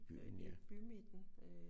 Inde i bymidten